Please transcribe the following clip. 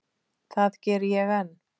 Það geri ég enn.